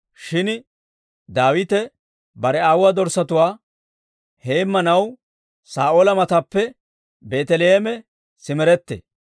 shin Daawite bare aawuwaa dorssatuwaa heemmanaw Saa'oola mataappe Beeteleeme simerettee.